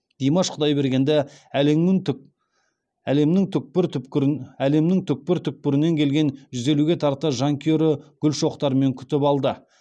димаш құдайбергенді әлемнің түкпір түкпірінен келген жүз елуге тарта жанкүйері гүл шоқтарымен күтіп алды